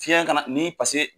Fiyɛn kana ni paseke